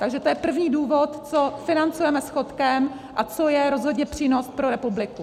Takže to je první důvod, co financujeme schodkem a co je rozhodně přínos pro republiku.